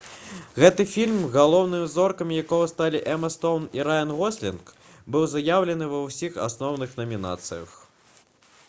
гэты фільм галоўнымі зоркамі якога сталі эма стоўн і раян гослінг быў заяўлены ва ўсіх асноўных намінацыях